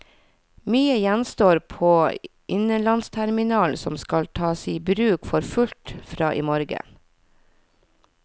Mye gjenstår på innenlandsterminalen som skal tas i bruk for fullt fra i morgen.